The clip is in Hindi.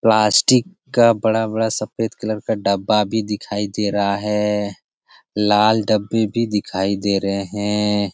प्लास्टिक का बड़ा-बड़ा सफ़ेद कलर का डब्बा भी दिखाई दे रहा है लाल डब्बे भी दिखाई दे रहे हैं।